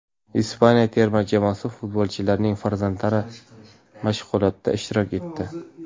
Ispaniya terma jamoasi futbolchilarining farzandlari mashg‘ulotda ishtirok etdi .